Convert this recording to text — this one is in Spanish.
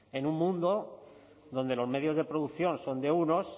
en un mundo donde los medios de producción son de unos